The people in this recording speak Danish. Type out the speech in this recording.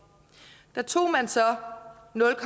der tog man så nul